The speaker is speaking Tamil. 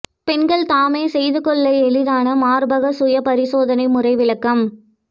பெண்கள் தாமே செய்து கொள்ள எளிதான மார்பக சுய பரிசோதனை முறை விளக்கம்